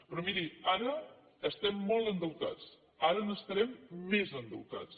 però miri ara estem molt endeutats ara n’estarem més d’endeutats